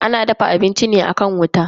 Ana dafa abinci ne akan wuta.